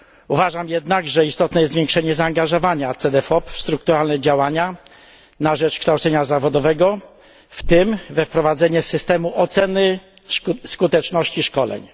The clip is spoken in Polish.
Uważam jednak, że istotne jest zwiększenie zaangażowania Cedefop w strukturalne działania na rzecz kształcenia zawodowego, w tym we wprowadzenie systemu oceny skuteczności szkoleń.